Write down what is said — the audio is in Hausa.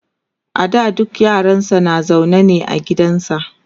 a da dukka yaransa na zaune ne a gidansa